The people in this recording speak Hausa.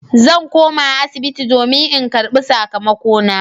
Zan koma asibiti don in karbi sakamakona.